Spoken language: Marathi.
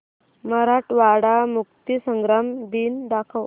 मराठवाडा मुक्तीसंग्राम दिन दाखव